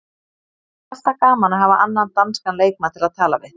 Það er alltaf gaman að hafa annan danskan leikmann til að tala við.